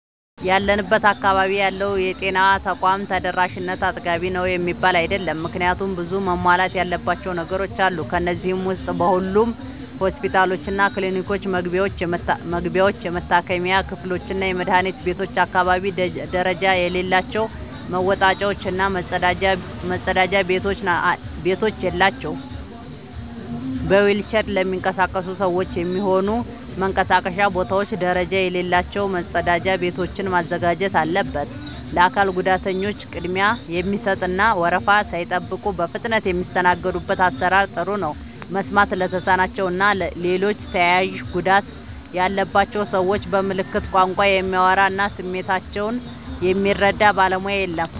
ያለንበት አካባቢ ያለው የጤና ተቋም ተደራሽነት አጥጋቢ ነው የሚባል አይደለም። ምክንያቱም ብዙ መሟላት ያለባቸው ነገሮች አሉ። ከነዚህ ዉስጥ በሁሉም ሆስፒታሎችና ክሊኒኮች መግቢያዎች፣ የመታከሚያ ክፍሎችና የመድኃኒት ቤቶች አካባቢ ደረጃ የሌላቸው መወጣጫዎች እና መጸዳጃ ቤቶች የላቸውም። በዊልቸር ለሚንቀሳቀሱ ሰዎች የሚሆኑ መንቀሳቀሻ ቦታዎች ደረጃ የሌላቸው መጸዳጃ ቤቶችን ማዘጋጀት አለበት። ለአካል ጉዳተኞች ቅድሚያ የሚሰጥ እና ወረፋ ሳይጠብቁ በፍጥነት የሚስተናገዱበት አሰራር ጥሩ ነው። መስማት ለተሳናቸው እና ሌሎች ተያያዥ ጉዳት ያለባቸውን ሰዎች በምልክት ቋንቋ የሚያወራ እና ስሜታቸውን የሚረዳ ባለሙያ የለም።